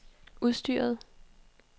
udstyret